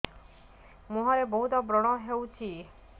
ମୁଁହରେ ବହୁତ ବ୍ରଣ ହଉଛି